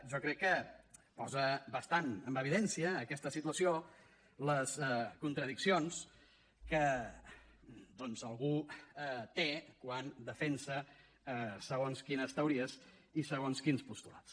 jo crec que posa bastant en evidència aquesta situació les contradiccions que doncs algú té quan defensa segons quines teories i segons quins postulats